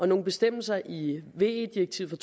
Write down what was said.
nogle bestemmelser i ve direktivet